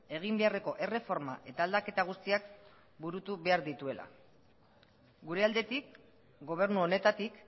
egin beharreko erreforma eta aldaketa guztiak burutu behar dituela gure aldetik gobernu honetatik